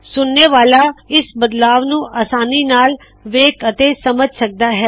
ਸੁਨਣੇ ਵਾਲਾ ਇਸ ਬਦਲਾਵ ਨੂੰ ਆਸਾਨੀ ਨਾਲ ਵੇਖ ਅਤੇ ਸਮਝ ਸਕਦਾ ਹੈ